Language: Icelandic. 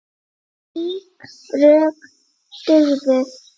Slík rök dugðu.